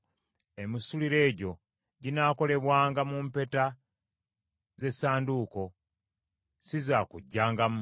Emisituliro egyo ginaalekebwanga mu mpeta ze ssanduuko, si zaakuggyangamu.